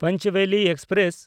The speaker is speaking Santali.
ᱯᱚᱧᱪᱵᱮᱞᱤ ᱮᱠᱥᱯᱨᱮᱥ